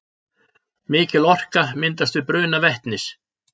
Mikil orka myndast við bruna vetnis.